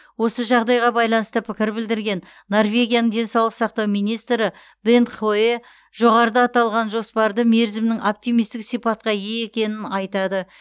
осы жағдайға байланысты пікір білдірген норвегияның денсаулық сақтау министрі бент хойе жоғарыда аталған жоспарды мерзімнің оптимистік сипатқа ие екенін айтады